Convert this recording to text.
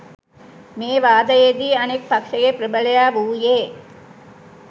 මේ වාදයේදී අනෙක් පක්ෂයේ ප්‍රබලයා වූයේ